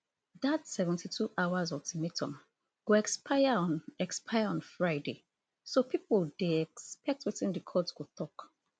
dat seventy-two hours ultimatum go expire on expire on friday so pipo dey expect wetin di court go tok